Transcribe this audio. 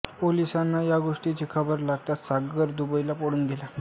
पोलिसांना या गोष्टीची खबर लागताच सागर दुबईला पळून गेला